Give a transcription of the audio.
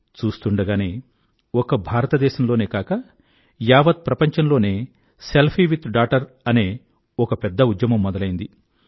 చూస్తూండగానే ఒక్క భారతదేశంలోనే కాక యావత్ ప్రపంచం లోనే సెల్ఫీ విత్ డాటర్ అనే ఒక పెద్ద ఉద్యమం మొదలైంది